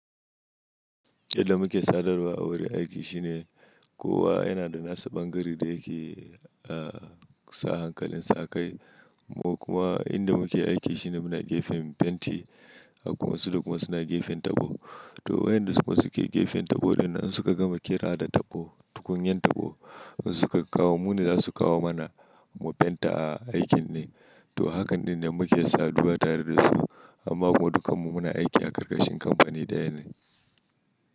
Yadda muke sadarwa a wurin aiki shine kowa yana da nasa bangaren da yake, a sa hankalinsa akai. Mu kuma inda muke aiki shine muna gefen benci. Kuma su kuma suna gefen tabo. To waƴanda suke gefen tabo ɗinnan in suka gama kera da tabo, tukunyan tabo. An suka kawo mune za su kawo mana mu fenta a aikin ne. To hakan ɗin ne muke saduwa tare da su. Amma kuma dukanmu muna aiki a karkashin kamfani ɗaya ne.